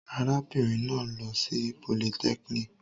Arábìnrin náà lọ sí polytechnic.